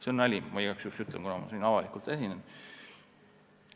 See on nali – ma igaks juhuks ütlen, kuna ma siin avalikult esinen.